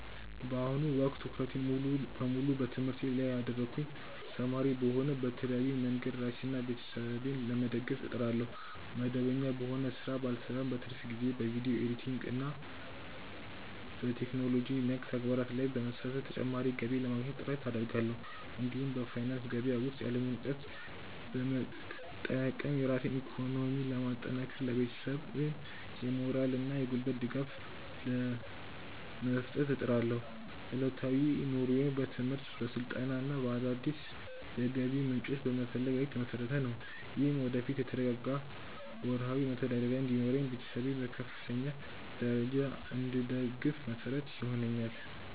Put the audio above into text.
በአሁኑ ወቅት ትኩረቴን ሙሉ በሙሉ በትምህርቴ ላይ ያደረግኩ ተማሪ ብሆንም፣ በተለያዩ መንገዶች ራሴንና ቤተሰቤን ለመደገፍ እጥራለሁ። መደበኛ በሆነ ሥራ ባልሰማራም፣ በትርፍ ጊዜዬ በቪዲዮ ኤዲቲንግና በቴክኖሎጂ ነክ ተግባራት ላይ በመሳተፍ ተጨማሪ ገቢ ለማግኘት ጥረት አደርጋለሁ። እንዲሁም በፋይናንስ ገበያ ውስጥ ያለኝን እውቀት በመጠቀም ራሴን በኢኮኖሚ ለማጠናከርና ለቤተሰቤም የሞራልና የጉልበት ድጋፍ ለመስጠት እጥራለሁ። ዕለታዊ ኑሮዬም በትምህርት፣ በስልጠናና አዳዲስ የገቢ ምንጮችን በመፈለግ ላይ የተመሰረተ ነው። ይህም ወደፊት የተረጋጋ ወርሃዊ መተዳደሪያ እንዲኖረኝና ቤተሰቤን በከፍተኛ ደረጃ እንድደግፍ መሰረት ይሆነኛል።